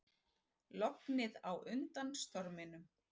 Lognið á undan storminum